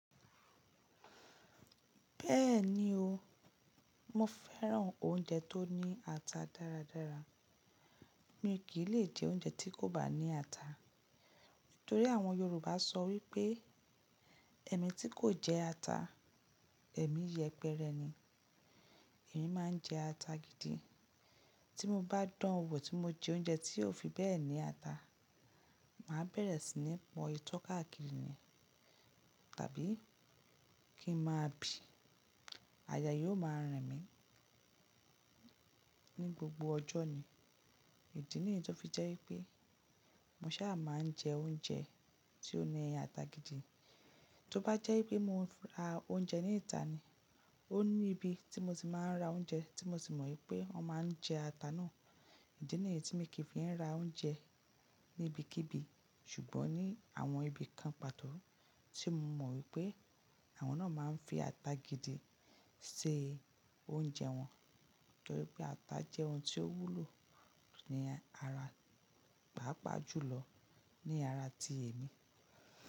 Bẹ́ẹ̀ni o, mo fẹ́ràn oúnjẹ tó ní ata dáradára. Mi kì lè jẹ oúnjẹ tí kò bá ní ata. Nítorí àwọn Yorùbá sọ wípé "Ẹ̀mí tí kò jẹ ata, ẹ̀mí yẹpẹrẹ ni". Èmi máa ń jẹ ata gidi. Tí mo bá dánwò tí mo jẹ oúnjẹ tí ò fi bẹ́ẹ̀ni ata, màá bẹ̀rẹ̀ sí ní pọ itọ́ káàkiri ni, tàbí kí n máa bì. Àyà yóò máa ràn mí ní gbogbo ọjọ́ ni. Ìdí nìyí tó fi jẹ́ wípé mo sábà máa ń jẹ oúnjẹ tí ó ní ata gidi. Tí ó bá jẹ́ wípé mo ń ra oúnjẹ ní ìta ni, ó ní ibi tí mo ti máa ń ra oúnjẹ tí mo sì mọ wípé wọ́n máa ń jẹ ata náà. Ìdí nìyí tí mi kì í fi ń ra oúnjẹ ní ibikíbi ṣùgbọ́n ní àwọn ibi kan pàtó tí mo mọ wípé àwọn náà máa ń fi ata gidi se ṣe oúnjẹ wọn. Nítorí pé ata jẹ́ oun tí ó wúlò ní ara, pàápàá jùlọ ní ara tí èmi.